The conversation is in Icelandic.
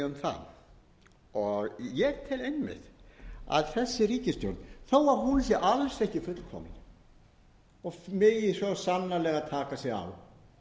segjum það ég tel einmitt að þessi ríkisstjórn þó að hún sé alls ekki fullkomin og megi svo sannarlega taka